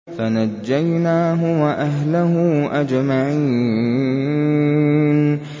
فَنَجَّيْنَاهُ وَأَهْلَهُ أَجْمَعِينَ